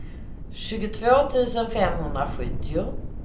tjugotvå tusen femhundrasjuttio